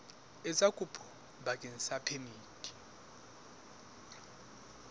etsa kopo bakeng sa phemiti